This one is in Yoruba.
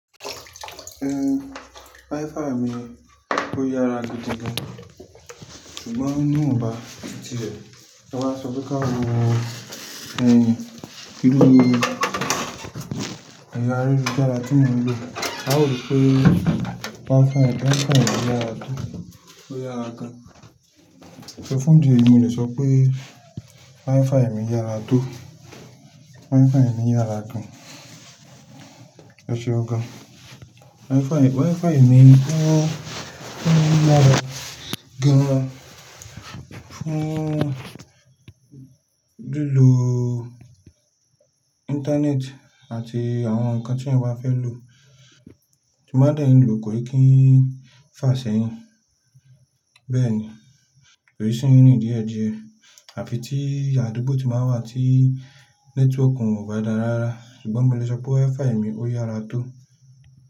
Ehn, wi-Fi mi ó yára gidi gan, ṣùgbọ́n ní ìwọ̀nba tirẹ̀, ta bá sọ pé ká wo ẹ̀rọ ayélujára tí mo ń lò. A ó rò pé wi-Fi, wi-Fi mi yára tó, ó yára gan. So fún ìdí èyí mo lè sọ pé wi-Fi mi yára tó, wi-Fi mi yára gan. Ẹṣeun gan. Wi-Fi, wi-Fi mi o, ó yára gan fún lílo internet àti àwọn ǹkan tí ẹ̀yàn bá fẹ́ lò. Tí mo bá dẹ̀ n lò kò n kí n fà ṣẹ́yìn. Bẹ́ẹ̀ ni, kò rí síyín ní ìdíẹ̀ díẹ̀, àfi tí àdúgbò tí máa ń wà tí network ò bá dáa rárá. Ṣùgbọ́n mo lè sọ pé wi-Fi mi ó yára tó.